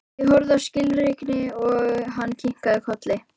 Ég horfði skilningsrík á hann og kinkaði kolli.